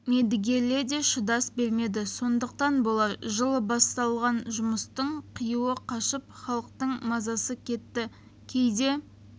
мердігерлер де шыдас бермеді сондықтан болар жылы басталған жұмыстың қиюы қашып халықтың мазасы кетті кейде